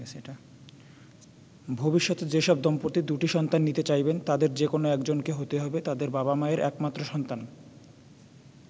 ভবিষ্যতে যেসব দম্পতি দুটি সন্তান নিতে চাইবেন তাদের যেকোনো একজনকে হতে হবে তাদের বাবা-মায়ের একমাত্র সন্তান।